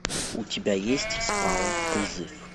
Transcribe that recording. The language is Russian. у тебя есть спаун призыв